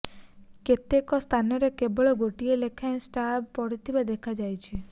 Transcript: କେତେକ ସ୍ଥାନରେ କେବଳ ଗୋଟିଏ ଲେଖାଁଏ ସ୍ଲାବ୍ ପଡ଼ିଥିବା ଦେଖାଯାଇଛି